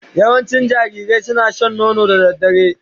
Yawancin jarirai suna shan nono da dare